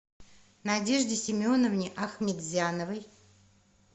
надежде семеновне ахметзяновой